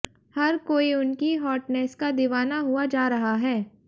हर कोई उनकी हॉटनेस का दीवाना हुआ जा रहा है